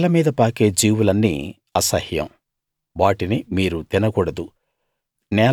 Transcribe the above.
నేలమీద పాకే జీవులన్నీ అసహ్యం వాటిని మీరు తినకూడదు